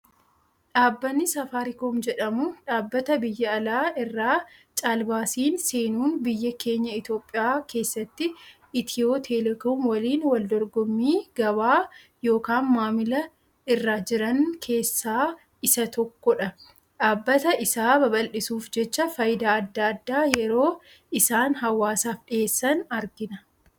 Dhaabbanni safariikoom jedhamu, dhaabbata biyya alaa irraa caalbaasiin seenuun biyya keenya Itoophiyaa keessatti itiyoo-telekoomii waliin wal dorgommii gabaa yookaan maamilaa irra jiran keessaa isa tokko dha. Dhaabbata isaa babaldhisuuf jecha, fayidaa addaa addaa yeroo isaan hawaasaaf dhiheessan argina.